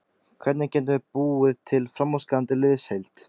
Hvernig getum við búið til framúrskarandi liðsheild?